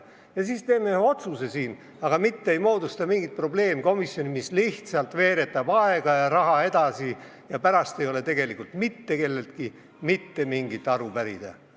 Ja siis teeme siin ühe otsuse, mitte ei moodusta mingit probleemkomisjoni, mis lihtsalt veeretab aega ja raha edasi, aga pärast ei ole võimalik mitte kelleltki mitte mingit aru pärida.